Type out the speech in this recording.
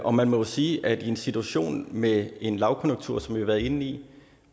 og man må jo sige at i en situation med en lavkonjunktur som vi har været inde i